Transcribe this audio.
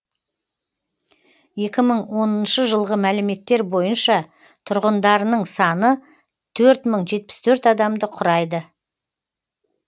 екі мың оныншы жылғы мәліметтер бойынша тұрғындарының саны төрт мың жетпіс төрт адамды құрайды